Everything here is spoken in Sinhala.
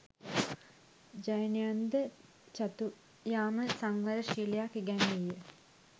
ජෛනයන්ද චතුයාම සංවර ශීලයක් ඉගැන්වීය.